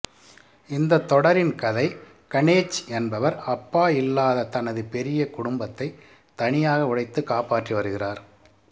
இந்த தொடரின் கதை கணேச் என்பவர் அப்பா இல்லாத தனது பெரிய குடும்பத்தை தனியாக உழைத்து காப்பாற்றி வருகிறார்